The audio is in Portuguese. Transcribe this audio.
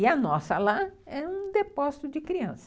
E a nossa lá é um depósito de criança.